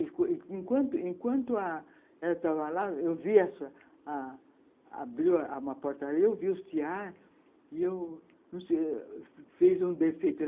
Enquanto enquanto a... ela estava lá, eu vi... Abriu uma porta ali, eu vi os tiares e eu fiz um defeito.